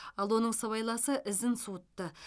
ал оның сыбайласы ізін суытты